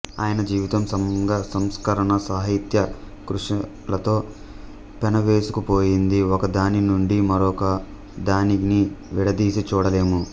ఆయన జీవితం సంఘసంస్కరణ సాహిత్య కృషులతో పెనవేసుకు పోయింది ఒకదానినుండి మరో దానిని విడదీసి చూడలేము